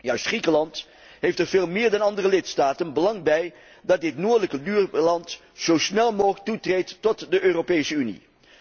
Juist Griekenland heeft er, veel meer dan andere lidstaten, belang bij dat dit noordelijke buurland zo snel mogelijk toetreedt tot de Europese Unie.